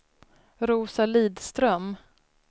Rosa Lidström